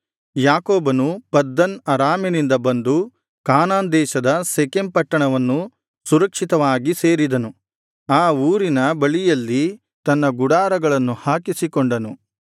ಯಾಕೋಬನು ಪದ್ದನ್ ಅರಾಮಿನಿಂದ ಬಂದು ಕಾನಾನ್ ದೇಶದ ಶೆಕೆಮ್ ಪಟ್ಟಣವನ್ನು ಸುರಕ್ಷಿತವಾಗಿ ಸೇರಿದನು ಆ ಊರಿನ ಬಳಿಯಲ್ಲಿ ತನ್ನ ಗುಡಾರಗಳನ್ನು ಹಾಕಿಸಿಕೊಂಡನು